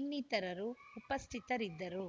ಇನ್ನಿತರರು ಉಪಸ್ಥಿತರಿದ್ದರು